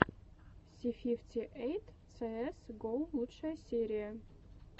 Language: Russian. си фифти эйт цээс го лучшая серия